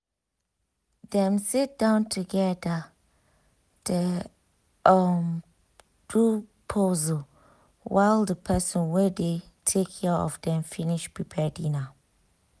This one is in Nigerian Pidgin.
dem sit down together dey um do puzzle while the person wey dey take care of dem finish prepare dinner